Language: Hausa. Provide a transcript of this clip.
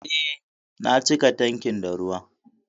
Eh, na cika tankin da ruwa